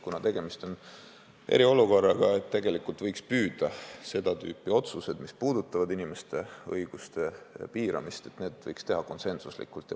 Kuna tegemist on eriolukorraga, võiks püüda seda tüüpi otsuseid, mis puudutavad inimeste õiguste piiramist, teha konsensuslikult.